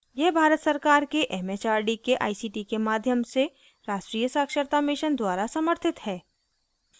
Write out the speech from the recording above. यह भारत सरकार के it it आर डी के आई सी टी के माध्यम से राष्ट्रीय साक्षरता mission द्वारा समर्थित है